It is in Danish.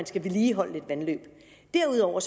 skal vedligeholdes derudover